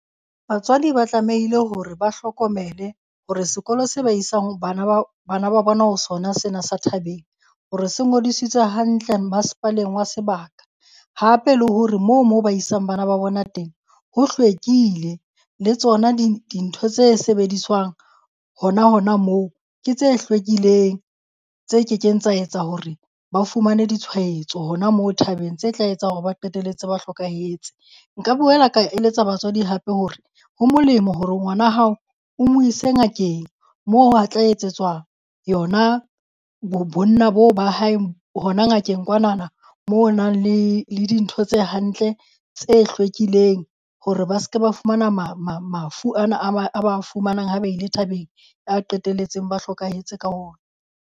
Batswadi ba tlamehile hore ba hlokomele hore sekolo se ba isang bana ba bana ba bona ho sona sena sa thabeng, hore se ngodisitswe hantle masepaleng wa sebaka. Hape le hore moo mo ba isang bana ba bona teng ho hlwekile le tsona di dintho tse sebediswang hona hona moo, ke tse hlwekileng, tse kekeng tsa etsa hore ba fumane ditshwaetso hona moo thabeng tse tla etsang hore ba qetelletse ba hlokahetse. Nka boela ka eletsa batswadi hape hore ho molemo hore ngwana hao o mo ise ngakeng moo a tla e etsetswa yona bo bonna boo ba hae hona ngakeng kwanana mo ho nang le le dintho tse hantle tse hlwekileng hore ba se ke ba fumana mafu ana a ba a ba fumanang ha ba ile thabeng a qetelletseng ba hlokahetse ka ona.